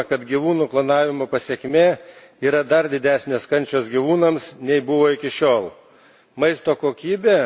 Irgi ne, mes žinome, kad gyvūnų klonavimo pasekmė yra dar didesnės kančios gyvūnams, nei buvo iki šiol.